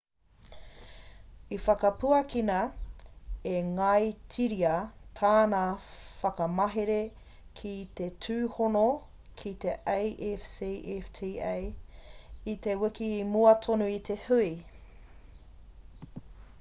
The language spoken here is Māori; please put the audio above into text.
i whakapuakina e ngāitiria tāna whakamahere ki te tūhono ki te afcfta i te wiki i mua tonu i te hui